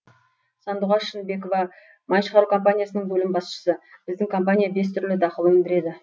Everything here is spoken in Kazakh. сандуғаш шынбекова май шығару компаниясының бөлім басшысы біздің компания бес түрлі дақыл өндіреді